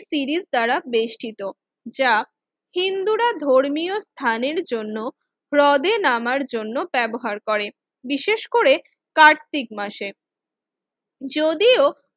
series দ্বারা বেষ্টিত যা হিন্দুরা ধর্মীয় স্থানের জন্য হ্রদে নামার জন্য ব্যবহার করে কার্তিক মাসে যদিও